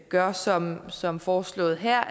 gør som som foreslået her